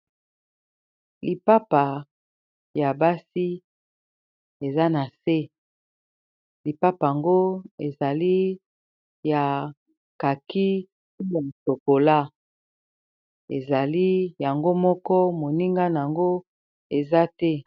Lipapa ya basi eza nase, lipapa yango ezali ya kaki na shokola, ezali yango moko moninga na yango eza te.